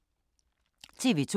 TV 2